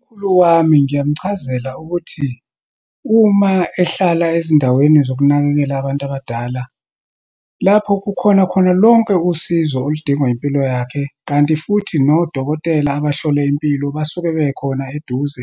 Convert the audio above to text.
Umkhulu wami ngiyamchazela ukuthi, uma ehlala ezindaweni zokunakekela abantu abadala, lapho kukhona khona lonke usizo oludingwa impilo yakhe, kanti futhi nodokotela abahlola impilo basuke bekhona eduze,